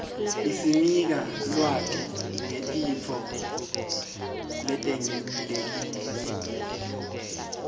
isinika lwati ngetintfo letengcile